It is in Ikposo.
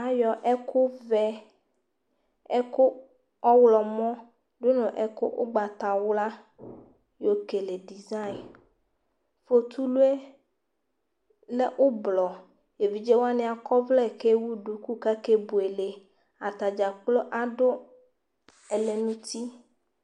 ayɔ ɛkò vɛ ɛkò ɔwlɔmɔ do no ɛkó ugbata wla yɔ okele dezayin fotulue lɛ ublɔ evidze wani akɔ ɔvlɛ k'ewu duku k'akebuele atadzakplo ado ɛlɛnuti